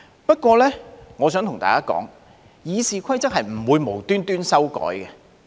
不過，我想對大家說，《議事規則》是不會無緣無故修改的。